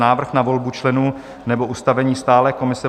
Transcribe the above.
Návrh na volbu členů nebo ustavení stálé komise